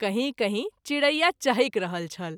कहीं कहीं चिड़ैया चहैक रहल छल।